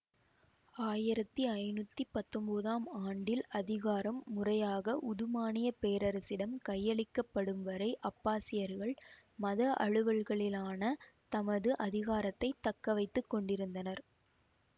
ஆயிரத்தி ஐநூத்தி பத்தொன்போதாம் ஆண்டில் அதிகாரம் முறையாக உதுமானியப் பேரசிடம் கையளிக்கப்படும்வரை அப்பாசியர்கள் மத அலுவல்களிலான தமது அதிகாரத்தை தக்கவைத்து கொண்டிருந்தனர்